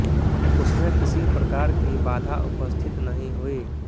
उसमे किसी प्रकार की बाधा उपस्थित नहीं हुई